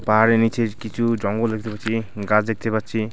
পাহাড়ের নীচে কিছু জঙ্গল দেখতে পাচ্ছি গাছ দেখতে পাচ্ছি।